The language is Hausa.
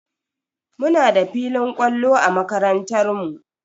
Muna da filin kwallo a makarantar mu.